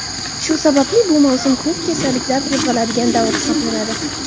Shu sababli bu mavsum ko‘p kasalliklar qo‘zg‘aladigan davr hisoblanadi.